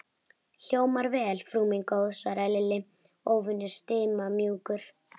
Hljómar vel, frú mín góð svaraði Lilli, óvenju stimamjúkur.